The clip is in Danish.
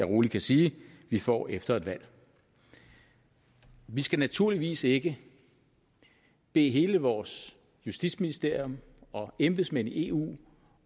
rolig sige vi får efter et valg vi skal naturligvis ikke bede hele vores justitsministerium og embedsmænd i eu